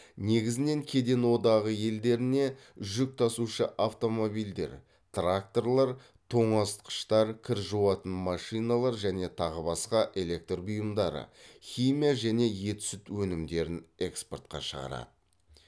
негізінен кеден одағы елдеріне жүк тасушы автомобильдер тракторлар тоңазытқыштар кір жуатын машиналар және тағы басқа электр бұйымдары химия және ет сүт өнімдерін экспортқа шығарады